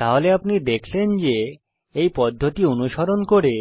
তাহলে আপনি দেখলেন যে এই পদ্ধতি অনুসরণ করে